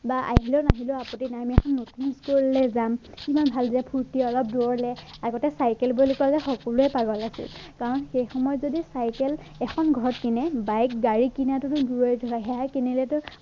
বা আহিলেও নাহিলেও আপত্তি নাই আমি এখন নতুন school লে যাম কিমান ভাল বেয়া ফুৰ্তি অলপ দূৰলে যাওঁ আগতে চাইকেল বুলি কলে সকলোৱে পাগল আছিলে কাৰণ সেই সময়ত যদি চাইকেল এখন ঘৰত কিনে বাইক, গাড়ী কিনাটোতো দূৰৰে কথা সেয়াই কিনিলেটো